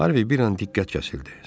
Harvey bir an diqqət kəsildi.